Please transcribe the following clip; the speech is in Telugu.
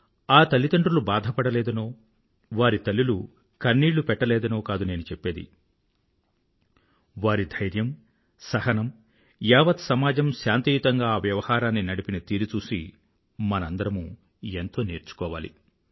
ఆ తల్లిదండ్రులు బాధపడలేదనో వారి తల్లులు కన్నీళ్ళు పెట్టలేదనో కాదు నేను చెప్పేది వారి ధైర్యం సహనం యావత్ సమాజం శాంతియుతంగా ఆ వ్యవహారాన్ని నడిపిన తీరు చూసి మనందరమూ ఎంతో నేర్చుకోవాలి